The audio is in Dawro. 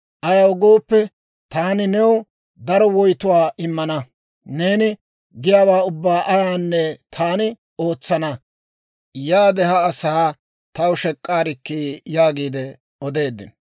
Ayaw gooppe, taani new daro woytuwaa immana; neeni giyaawaa ubbaa ayaanne taani ootsana. Yaade ha asaa taw shek'k'aarikkii› » yaagiide odeeddino.